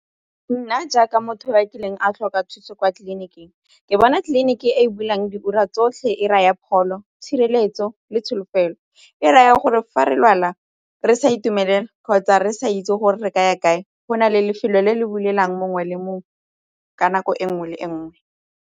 Nna jaaka motho yo kileng a tlhoka thuso kwa tleliniking ke bona tleliniki e bulang diura tsotlhe e raya pholo tshireletso le tsholofelo e raya gore fa re lwala re sa itumelela kgotsa re sa itse gore re ka ya kae go na le lefelo le le bulelang mongwe le mongwe ka nako e nngwe le e nngwe.